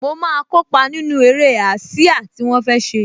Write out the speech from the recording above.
Mo máa kópa nínú eré ásíá tí wọ́n fẹ́ ṣe